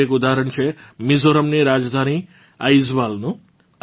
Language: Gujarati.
આવું એક ઊદાહરણ છે મિઝોરમની રાજધાની આઇજવાલનું